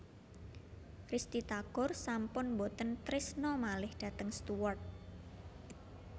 Risty Tagor sampun mboten trisno malih dhateng Stuart